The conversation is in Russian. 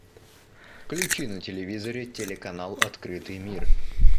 включи на телевизоре телеканал открытый мир